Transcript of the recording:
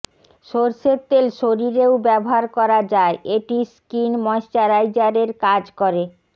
সরষের তেল শরীরেও ব্যবহার করা যায় এটি স্কিন ময়শ্চারাইজারের কাজ করে